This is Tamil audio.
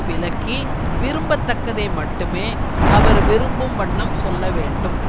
விலக்கி விரும்ப தக்கதை மட்டுமே அவர் விரும்பும் வண்ணம் சொல்ல வேண்டும்